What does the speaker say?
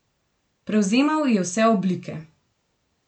Prevzemal je vse oblike.